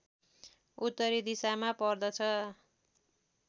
उत्तरी दिशामा पर्दछ